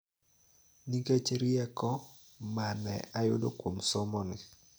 Nikech rieko ma ne ayudo kuom somoni.